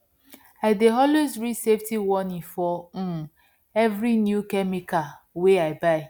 i dey always read safety warning for um every new chemical wey i buy